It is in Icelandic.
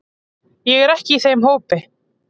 Ég er ekki í þeim hópi.